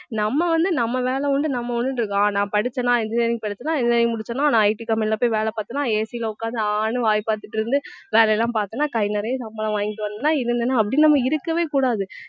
நம்ம வந்து நம்ம வேலை உண்டு நம்ம உண்டுன்னு இருக்கோம் அஹ் நான் படிச்சேன்னா engineering படிச்சேன்னா engineering முடிச்சனா நான் IT company ல போய் வேலை பார்த்தேன்னா AC ல உட்கார்ந்து ஆன்னு வாயை பார்த்திட்டு இருந்து வேலை எல்லாம் பார்த்தேன்னா கை நிறைய சம்பளம் வாங்கிட்டு வந்தேன்னா இருந்தேன்னா அப்படி நம்ம இருக்கவே கூடாது